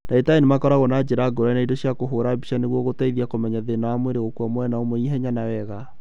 Ndagĩtari nĩmakoragwo na njĩra ngũrani na indo cia kũhũra mbica nĩguo gũteithia kũmenya thĩna wa mwĩrĩ gũkua mwena ũmwe ihenya na wega